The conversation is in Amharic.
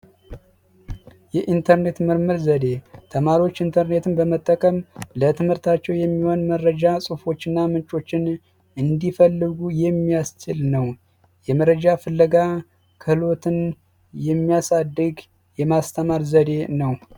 የኢንተርኔት ምርምር ዘዴ ተማሪዎች ኢንተርኔትን በመጠቀም ለትምህርታቸው የሚሆን መረጃ ጽሁፎችና ምንጮችን እንዲፈልጉ የሚያስችል ነው የመረጃ ፍለጋ የሚያሳድግ የማስተማር ዘዴ ነው